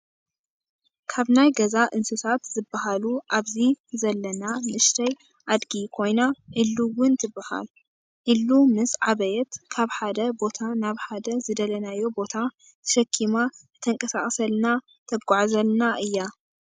እንስሳት፦ ካብ ናይ ገዛ እንስሳት ዝበሃሉ ኣብዚ ዘላና ንእሽተይ ዓድጊ ኮይና ዒሉ እውን ትበሃል። ዕሊ ምስ ዓበየት ካብ ሓደ ቦታናብ ናብ ዝደለናዮ ቦታ ተሸኪማ እተቃሳቅሰልና እተጓዓዕዘልና እያ።